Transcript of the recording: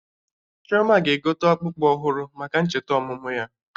Chioma ga-egote akpụkpụ ọhụrụ maka ncheta ọmụmụ ya